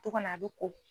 To kɔnɔ a bɛ ko